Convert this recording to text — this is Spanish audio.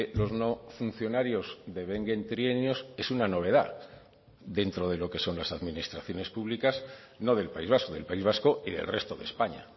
los no funcionarios devenguen trienios es una novedad dentro de lo que son las administraciones públicas no del país vasco del país vasco y del resto de españa